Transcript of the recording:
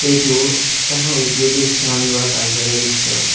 এইটো এখন উদ্যোগিক স্থান বা কাৰ্য্যালয়ৰ দৃশ্য।